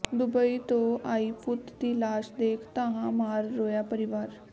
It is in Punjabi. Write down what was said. ਦੁਬਈ ਤੋਂ ਆਈ ਪੁੱਤ ਦੀ ਲਾਸ਼ ਦੇਖ ਧਾਹਾਂ ਮਾਰ ਰੋਇਆ ਪਰਿਵਾਰ